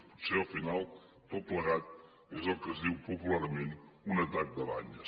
potser al final tot plegat és el que se’n diu popularment un atac de banyes